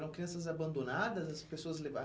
Eram crianças abandonadas, as pessoas